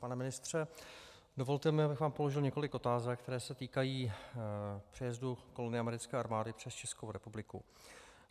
Pane ministře, dovolte mi, abych vám položil několik otázek, které se týkají přejezdu kolony americké armády přes Českou republiku.